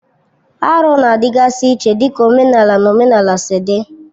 Arụ na-adịgasị iche dịka omenala na omenala si dị.